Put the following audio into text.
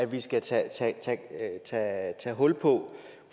vi skal tage tage hul på